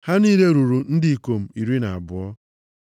Ha niile ruru ndị ikom iri na abụọ.